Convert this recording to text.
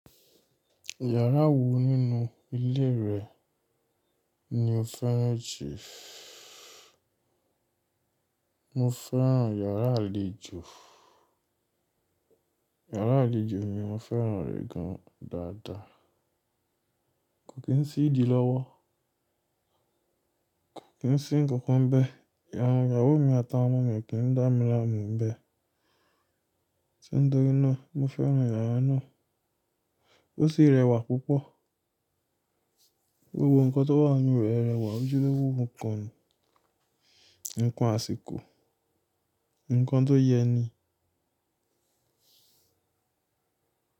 Yàrá wo nínú ilé rẹ ni o féràn juu? Mo féràn yàrá àlejò, yàrá àlejò mi mo féràn rẹ̀ gan dàda. Kò kí n sí ìdí lọ́wọ́, kò kí n sí nǹkan kan bẹ́ẹ̀, ìyàwó mi àtàwọn ọmọ mi kì í dá mi láàmú bẹ́ẹ̀. Tí ń tọ́rin náà mo féràn yàrá náà. Ó sì rẹwà púpọ̀. Gbogbo ǹkan tó wà nínú rẹ̀ rẹwà ojúlówó ǹkan ni, ǹkan àsìkò, ǹkan tó yẹ ni.